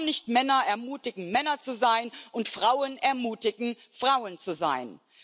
Warum nicht Männer ermutigen, Männer zu sein, und Frauen ermutigen, Frauen zu sein?